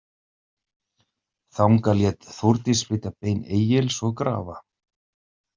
Þangað lét Þórdís flytja bein Egils og grafa.